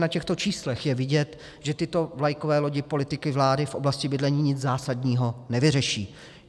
Na těchto číslech je vidět, že tyto vlakové lodi politiky vlády v oblasti bydlení nic zásadního nevyřeší.